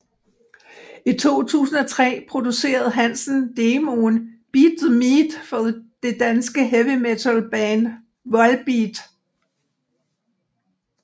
I 2003 producerede hansen demoen Beat the Meat for det danske heavy metalband Volbeat